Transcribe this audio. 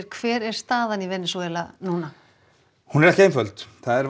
hver er staðan í Venesúela núna hún er ekki einföld það er